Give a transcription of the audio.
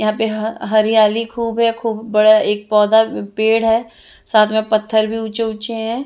यहाँ पे ह हरयाली खूब है खूब बड़ा एक पौधा पेड़ है साथ में पत्थर भी ऊँचे ऊँचे हैं ।